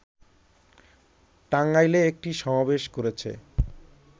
টাঙ্গাইলে একটি সমাবেশ করেছে